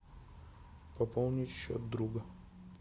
пополнить счет друга